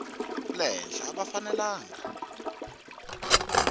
le henhla a va fanelanga